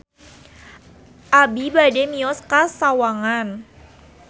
Abi bade mios ka Sawangan